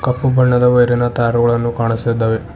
ಕಪ್ಪು ಬಣ್ಣದ ವೈರಿನ ತಾರುಗಳನ್ನು ಕಾಣ್ಸ್ತದ್ದವೆ.